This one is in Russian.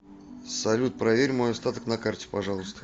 салют проверь мой остаток на карте пожалуйста